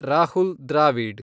Rahul Dravid